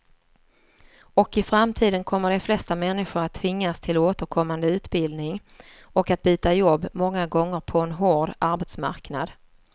Och i framtiden kommer de flesta människor att tvingas till återkommande utbildning och att byta jobb många gånger på en hård arbetsmarknad.